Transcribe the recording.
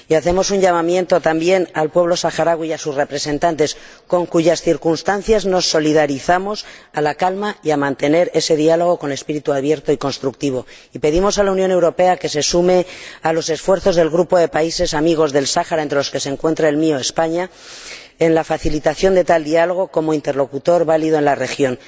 Hacemos un llamamiento a la calma también al pueblo saharaui y a sus representantes, con cuyas circunstancias nos solidarizamos, y a que mantengan ese diálogo con espíritu abierto y constructivo. Pedimos a la Unión Europea que se sume a los esfuerzos del grupo de países amigos del Sáhara, entre los que se encuentra el mío, España, en la facilitación de tal diálogo como interlocutor válido en la región.